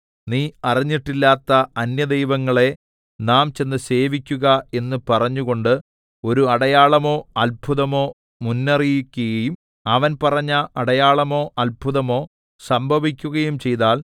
നീ അറിഞ്ഞിട്ടില്ലാത്ത അന്യദൈവങ്ങളെ നാം ചെന്ന് സേവിക്കുക എന്ന് പറഞ്ഞുകൊണ്ട് ഒരു അടയാളമോ അത്ഭുതമോ മുന്നറിയിക്കയും അവൻ പറഞ്ഞ അടയാളമോ അത്ഭുതമോ സംഭവിക്കുകയും ചെയ്താൽ